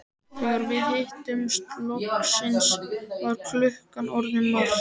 Þegar við hittumst loksins var klukkan orðin margt.